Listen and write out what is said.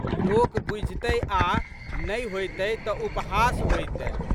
लोक बुझितए आ नहि होइतए तऽ उपहास होइतए।